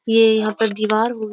ये यहाँ पर दीवार हो --